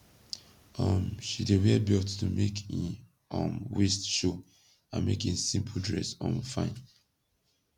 um she dey wear belt to make in um waist show and make in simpol dress um fine